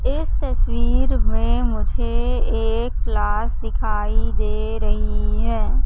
इस तस्वीर में मुझे एक क्लास दिखाई दे रही हैं।